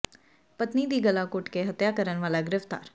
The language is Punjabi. ਪਤਨੀ ਦੀ ਗਲਾ ਘੁੱਟ ਕੇ ਹੱਤਿਆ ਕਰਨ ਵਾਲਾ ਗਿ੍ਫ਼ਤਾਰ